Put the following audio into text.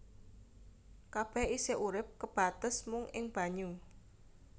Kabèh isih urip kebates mung ing banyu